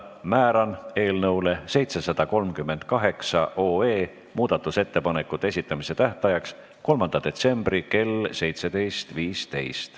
Määran eelnõu 738 muudatusettepanekute esitamise tähtajaks 3. detsembri kell 17.15.